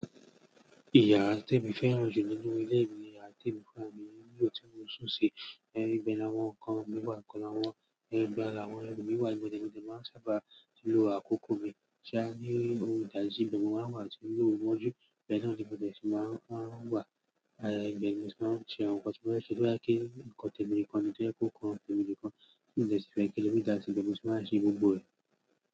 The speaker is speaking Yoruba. Ìyára témì fẹ́ràn jù nínú ilé mi ni yára témì fúnra mi nlo tí mo n sùn sí, ibẹ́ lawọ́n nkan mi wà kan, ibẹ́ làwọn ẹru mi wà. Mo máa ń sábà lò àkókò mi. Ṣá ní òǹdàjí, ìbe ni mọ́ máa ń wà tí oru moju, ibẹ́ẹ̀ náà ni mo dẹ̀ tun máa ń wà. Àyà Ìgbẹ̀mi tí wọ́n ń ṣe àwọn nǹkan tí wọ́n fẹ́ ṣe, bí wọ́n bá kí ǹkan tèmi kan ni tó yẹ kó kan tèmi nìkan, ǹjẹ́ sì fẹ́ kí omi dà sí ìbòmọ́ tí wọ́n á ṣe gbogbo rẹ̀.